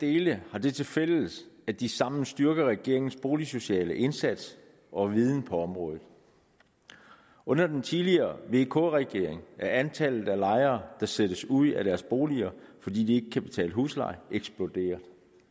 dele har det tilfælles at de sammen styrker regeringens boligsociale indsats og viden på området under den tidligere vk regering er antallet af lejere der sættes ud af deres boliger fordi de ikke kan betale husleje eksploderet